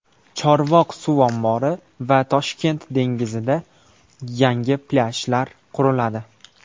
Chorvoq suv ombori va Toshkent dengizida yangi plyajlar quriladi.